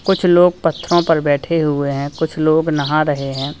कुछ लोग पत्थरों पर बैठे हुए हैं कुछ लोग नहा रहे हैं।